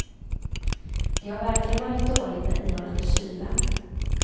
Det har verkligen varit dåligt med ihållande kyla.